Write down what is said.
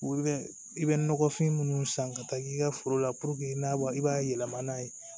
I bɛ nɔgɔfin munnu san ka taa k'i ka foro la i n'a i b'a yɛlɛmana n'a ye